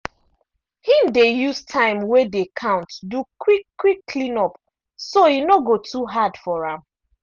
him dey use time wey dey count do quick -quick clean up so e no go too hard for am.